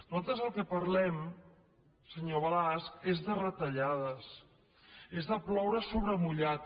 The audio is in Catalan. nosaltres del que parlem senyor balasch és de retallades és de ploure sobre mullat